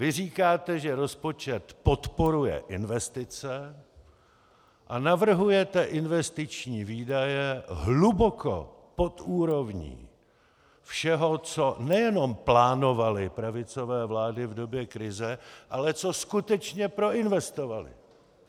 Vy říkáte, že rozpočet podporuje investice, a navrhujete investiční výdaje hluboko pod úrovní všeho, co nejenom plánovaly pravicové vlády v době krize, ale co skutečně proinvestovaly.